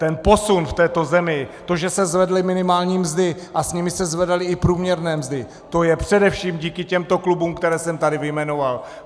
Ten posun v této zemi, to, že se zvedly minimální mzdy a s nimi se zvedaly i průměrné mzdy, to je především díky těmto klubům, které jsem tady vyjmenoval.